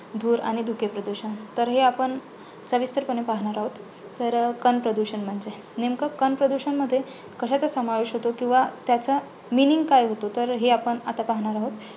धूर आणि धुके प्रदूषण. तर हे आपण सविस्तरपणे पाहणार आहोत. तर कण प्रदूषण म्हणजे नेमकं कण प्रदूषण मध्ये कशाचा समावेश होतो? किंवा त्याचा meaning काय होतो? तर हे आपण आता पाहणार आहोत.